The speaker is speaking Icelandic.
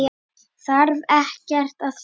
Þarf ekkert að fela.